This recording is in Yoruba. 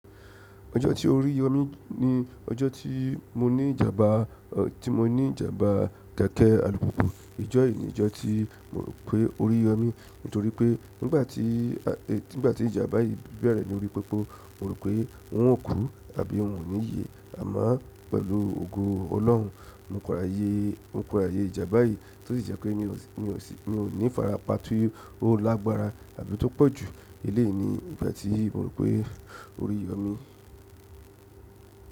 Ọjọ́ tí oríyọmi ni ọjọ́ tí mo ní ìjàmbá, tí mo ní ìjàmbá kẹ̀kẹ́ alùpùpù. Ọjọ́ yìí ni ìjọ́ tí mo rò pé oríyọmi, nítorí pé nígbà tí, nígbà tí ìjàmbá yìí bẹ̀rẹ̀ ní ojú popo, mo rò pé n ó kú àbí ò ní ye. Àmọ́ pẹ̀lú ògo Ọlọ́run, mo padà yé, mo padà yé ìjàmbá yìí tó sì jẹ́ pé mi ò sí, mi ò ní farapa ti ó lágbára àbí tó pọ̀jù. Eleyi ni ìgbà tí mo rò pé oríyọmi.